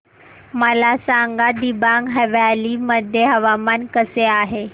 मला सांगा दिबांग व्हॅली मध्ये हवामान कसे आहे